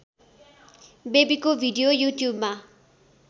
बेबीको video युट्युबमा